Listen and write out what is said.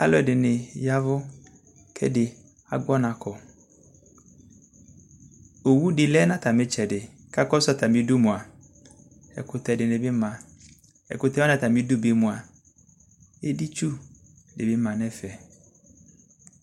alʋ ɛdɩnɩ ya ɛvʋ kʋ ɛdɩnɩ agbɔ ɔnakɔ owʋdɩ lɛ nʋ atami ɩtdɛdɩ kʋ ɛkʋtɛ dɩnɩbɩ ma kʋ ɛkʋtɛ wanɩ atamidu mʋa editsu dɩnɩ ma nʋ ɛfɛ